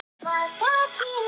Best að fara ekki of langt.